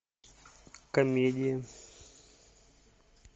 комедии